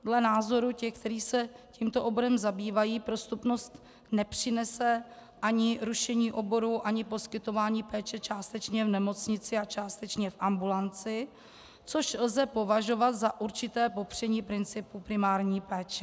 Dle názoru těch, kteří se tímto oborem zabývají, prostupnost nepřinese ani rušení oborů ani poskytování péče částečně v nemocnici a částečně v ambulanci, což lze považovat za určité popření principu primární péče.